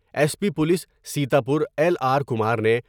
S P police Sitapur L R Kumar نے۔